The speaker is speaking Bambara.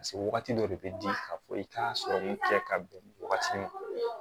Paseke wagati dɔ de bɛ di ka fɔ i k'a sɔrɔ kɛ ka bɛn wagati min